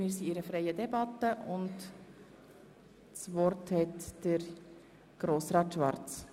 Wir führen eine freie Debatte und das Wort hat der Motionär.